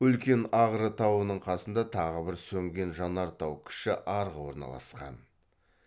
үлкен ағры тауының қасында тағы бір сөнген жанартау кіші арғы орналасқан